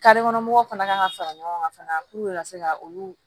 kɔnɔ mɔgɔw fana kan ka fara ɲɔgɔn kan fana ka se ka olu